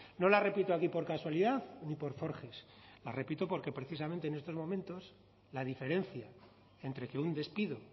no la repito aquí por casualidad ni por forges la repito porque precisamente en estos momentos la diferencia entre que un despido